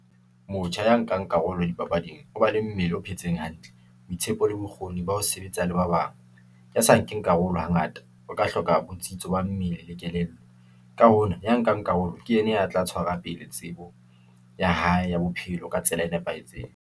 Motjha ya nkang karolo dipapading, o ba le mmele o phetseng hantle, boitshepo le bokgoni ba ho sebetsa le ba bang. Ya sa nkeng karolo hangata, o ka hloka botsitso ba mmele le kelello. Ka hona ya nkang karolo, ke yena ya tla tshwara pele tsebo ya hae ya bophelo ka tsela e nepahetseng.